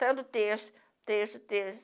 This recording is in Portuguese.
Tanto terço terço terço